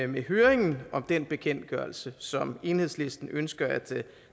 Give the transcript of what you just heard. med høringen om den bekendtgørelse som enhedslisten ønsker at